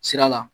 Sira la